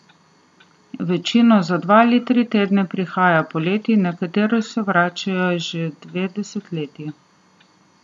Večina za dva ali tri tedne prihaja poleti, nekateri se vračajo že dve desetletji.